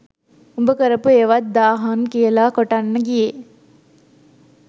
උඹ කරපු ඒවත් දාහන් කියල කොටන්න ගියේ